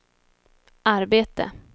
arbete